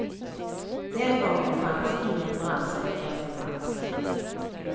Den gången fanns ingen brandsläckare till hands.